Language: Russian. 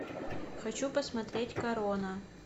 хочу посмотреть корона